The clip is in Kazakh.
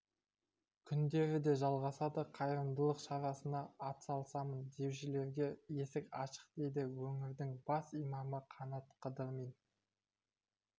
күндері де жалғасады қайырымдылық шарасына атсалысамын деушілерге есік ашық дейді өңірдің бас имамы қанат қыдырмин